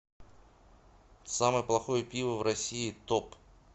самое плохое пиво в россии топ